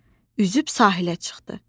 Üzüb sahilə çıxdı.